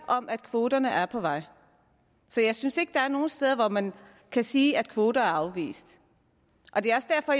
om at kvoterne er på vej så jeg synes ikke der er nogen steder hvor man kan sige at kvoter er afvist det er også derfor